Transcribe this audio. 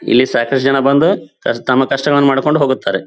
ಇಲ್ಲಿ ಸಾಕಷ್ಟು ಜನ ಬಂದು ಕಷ್ಟ ತಮ್ಮ ಕಷ್ಟವನ್ನು ಮಾಡಿಕೊಂಡು ಹೋಗುತ್ತಾರೆ.